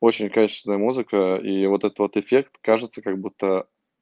очень качественная музыка и вот этот эффект кажется как будто